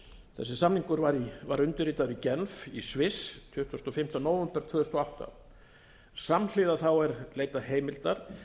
þessi samningur var undirritaður i genf í sviss tuttugasta og fimmta nóvember tvö þúsund og átta samhliða er leitað heimildar